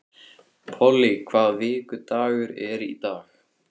Polly, hvaða vikudagur er í dag?